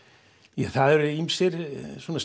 ja það eru ýmsir